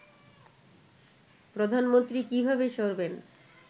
প্রধানমন্ত্রী কিভাবে সরবেন